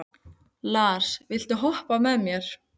Lars, viltu hoppa með mér?